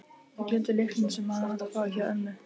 Ég gleymdi lyklunum, sem hann á að fá, hjá ömmu.